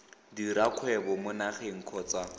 dira kgwebo mo nageng kgotsa